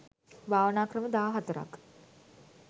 භාවනා ක්‍රම දහ හතරක්